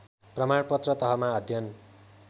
प्रमाणपत्र तहमा अध्ययन